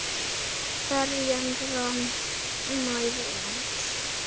Ferjan rann nær landi.